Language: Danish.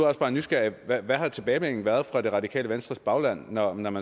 også bare nysgerrig hvad har tilbagemeldingen været fra det radikale venstres bagland når man